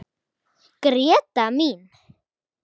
Gréta mín.